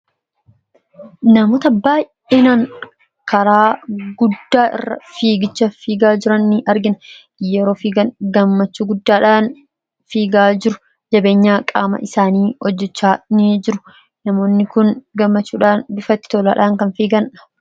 Namoonni baay'een karaa guddicha irra fiigicha fiigaa jiran ni argina. Yeroo fiigan gammachuu guddaadhaan fiigaa jiru. Jabeenya qaama isaanii hojjechaa ni jiru. Namoonni kun gammachuudhaan: bifa itti toleen kan fiigan.